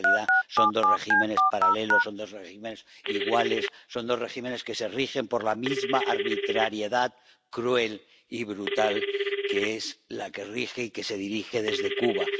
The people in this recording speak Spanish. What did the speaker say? Porque, en realidad, son dos regímenes paralelos, son dos regímenes iguales, son dos regímenes que se rigen por la misma arbitrariedad cruel y brutal, que es la que rige y que se dirige desde Cuba.